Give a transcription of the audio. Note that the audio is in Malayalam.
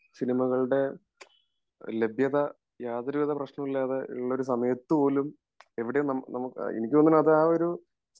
സിനിമകളുടെ ലഭ്യത യാതൊരുവിധ പ്രശ്നവും ഇല്ലാതെ ഉള്ള ഒരു സമയത്തു പോലും എവിടെ നമ്മുക്ക് എനിക്ക് തോന്നണു അത് ആ ഒരു